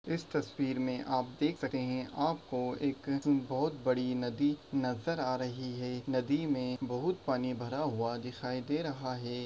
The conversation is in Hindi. इस तस्वीर मैं आप देख सकेंगे आप को एक बहोत बड़ी नदी नज़र आ रही है नदी मैं बहुत पानी भरा हुआ दिखाई दे रहा है।